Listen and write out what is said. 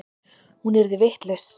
Hún yrði vitlaus.